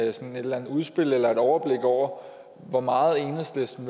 et eller andet udspil om eller et overblik over hvor meget enhedslisten